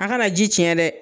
A ka na ji ciɲɛ dɛ!